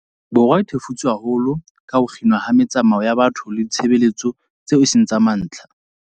Borwa a thefutsweng haholo ke ho kginwa ha metsamao ya batho le ditshebeletso tseo e seng tsa mantlha.